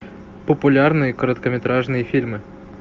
популярные короткометражные фильмы